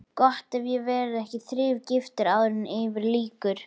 Gott ef ég verð ekki þrígiftur áður en yfir lýkur.